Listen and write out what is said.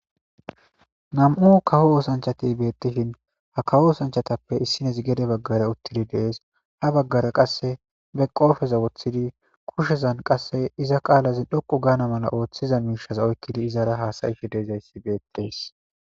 2 kawo osanchat betishn ha kawo osanchateppe issinez gede bagara utid de'es, ha bagara qase qopeza wothid kushezan qase iza qalaz dhoqu gana mala othiza mishaza oykid izara hasa'ashe dizays betes.